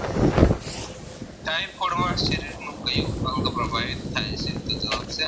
Typhoid માં શરીરનું ક્યુ અંગ પ્રભાવિત થાય છે તો જવાબ છે